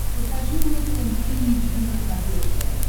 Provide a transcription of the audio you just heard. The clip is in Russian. покажи мне тнт эйч ди на смотрешке